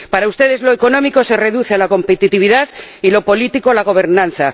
Para ustedes lo económico se reduce a la competitividad, y lo político, a la gobernanza.